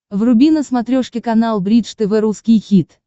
вруби на смотрешке канал бридж тв русский хит